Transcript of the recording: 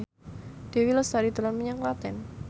Dewi Lestari dolan menyang Klaten